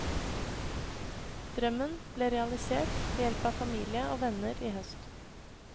Drømmen ble realisert ved hjelp av familie og venner i høst.